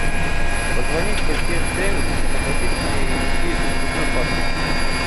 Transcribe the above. позвонить в консьерж сервис и попросить принести зубную пасту